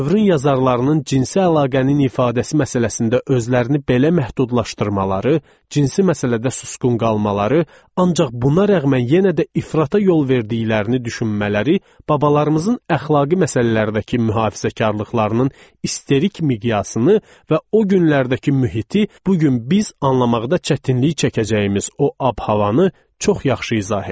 Dövrün yazarlarının cinsi əlaqənin ifadəsi məsələsində özlərini belə məhdudlaşdırmaları, cinsi məsələdə susqun qalmaları, ancaq buna rəğmən yenə də ifrata yol verdiklərini düşünmələri, babalarımızın əxlaqi məsələlərdəki mühafizəkarlıqlarının isterik miqyasını və o günlərdəki mühiti bu gün biz anlamaqda çətinlik çəkəcəyimiz o abu-havanı çox yaxşı izah edir.